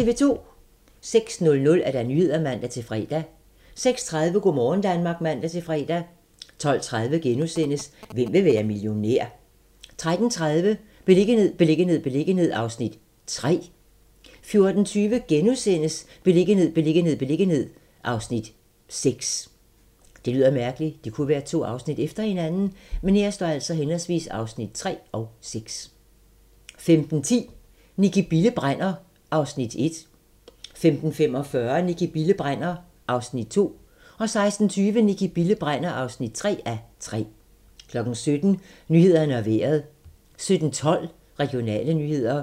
06:00: Nyhederne (man-fre) 06:30: Go' morgen Danmark (man-fre) 12:30: Hvem vil være millionær? * 13:30: Beliggenhed, beliggenhed, beliggenhed (Afs. 3) 14:20: Beliggenhed, beliggenhed, beliggenhed (Afs. 6)* 15:10: Nicki Bille brænder (1:3) 15:45: Nicki Bille brænder (2:3) 16:20: Nicki Bille brænder (3:3) 17:00: Nyhederne og Vejret 17:12: Regionale nyheder